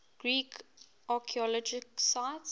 greek archaeological sites